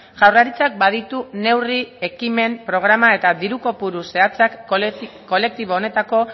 jaurlaritzak baditu neurri ekimen programa eta diru kopuru zehatzak kolektibo honetako